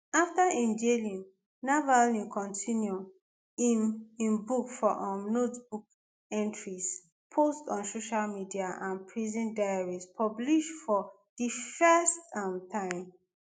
after im jailing navalny continue im im book for um notebook entries posts on social media and prison diaries published for di first um time